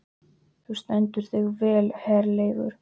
Þú stendur þig vel, Herleifur!